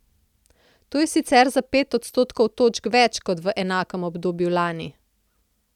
To je sicer za pet odstotnih točk več kot v enakem obdobju lani.